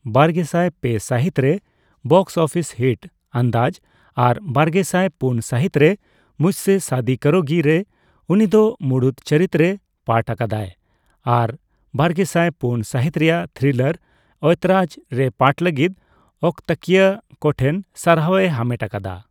ᱵᱟᱨᱜᱮᱥᱟᱭ ᱯᱮ ᱥᱟᱹᱦᱤᱛ ᱨᱮ ᱵᱚᱠᱥᱼᱚᱯᱷᱤᱥ ᱦᱤᱴ 'ᱟᱱᱫᱟᱡᱽ' ᱟᱨ ᱵᱟᱨᱜᱮᱥᱟᱭ ᱯᱩᱱ ᱥᱟᱹᱦᱤᱛ ᱨᱮ 'ᱢᱩᱡᱷ ᱥᱮ ᱥᱟᱫᱤ ᱠᱟᱨᱳᱜᱤ' ᱨᱮ ᱩᱱᱤ ᱫᱚ ᱢᱩᱲᱩᱫ ᱪᱩᱨᱤᱛ ᱨᱮ ᱯᱟᱴᱷ ᱟᱠᱟᱫᱟᱭ ᱟᱨ ᱵᱟᱨᱜᱮᱥᱟᱭ ᱯᱩᱱ ᱥᱟᱹᱦᱤᱛ ᱨᱮᱭᱟᱜ ᱛᱷᱨᱤᱞᱟᱨ ' ᱳᱭᱛᱚᱨᱟᱡᱽ ' ᱨᱮ ᱯᱟᱴᱷ ᱞᱟᱹᱜᱤᱫ ᱚᱠᱛᱟᱠᱤᱭᱟᱹ ᱠᱚᱴᱷᱮᱱ ᱥᱟᱨᱦᱟᱣ ᱮ ᱦᱟᱢᱮᱴ ᱟᱠᱟᱫᱟ ᱾